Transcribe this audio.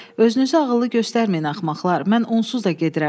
Özünüzü ağıllı göstərməyin axmaqlar, mən onsuz da gedirəm.